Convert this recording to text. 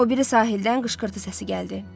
O biri sahildən qışqırtı səsi gəldi.